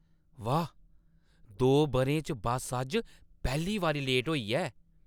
वाह्, दो बʼरें च बस्स अज्ज पैह्‌ली बारी लेट होई ऐ।